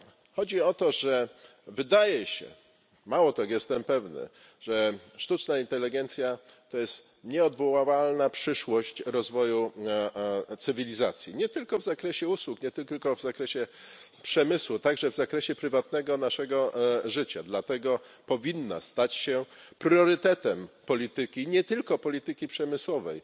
Chodzi o to, że wydaje się mało tego, jestem pewny że sztuczna inteligencja to jest nieunikniona przyszłość rozwoju cywilizacji, nie tylko w zakresie usług, nie tylko w zakresie przemysłu, ale także w zakresie naszego prywatnego życia. Dlatego powinna stać się priorytetem polityki nie tylko polityki przemysłowej